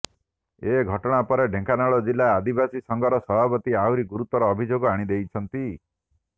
ଏ ଘଟଣା ପରେ ଢେଙ୍କାନାଳ ଜିଲ୍ଲା ଆଦିବାସୀ ସଂଘର ସଭାପତି ଆହୁରି ଗୁରୁତର ଅଭିଯୋଗ ଆଣିଛନ୍ତି